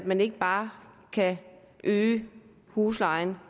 man ikke bare kan hæve huslejen